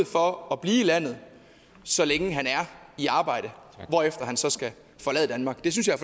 for at blive i landet så længe han er i arbejde hvorefter han så skal forlade danmark det synes jeg